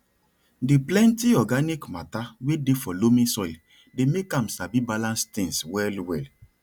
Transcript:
di plenty organic matter wey dey for loamy soil dey make am sabi balance things well well